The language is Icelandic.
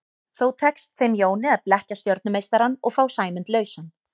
Þó tekst þeim Jóni að blekkja stjörnumeistarann og fá Sæmund lausan.